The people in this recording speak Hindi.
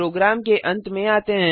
प्रोग्राम के अंत में आते हैं